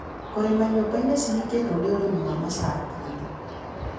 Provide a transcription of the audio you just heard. Kũrĩma nyũmbainĩ cihingĩtwo nĩ ũrimi wa macakinĩ.